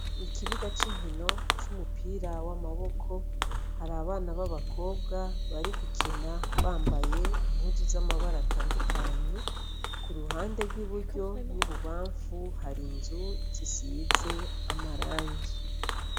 Ikibuga c'inkino c'umupira w'amaboko har'abana b'abkobwa barigukina bambaye impuzu z'amabara atandukanye kuruhande rw'i buryo n'ibubamfu har'inzu zisize amarangi